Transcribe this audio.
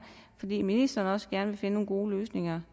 fordi ministeren også gerne ville finde nogle gode løsninger